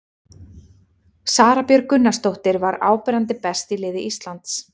Sara Björg Gunnarsdóttir var áberandi best í liði Íslands.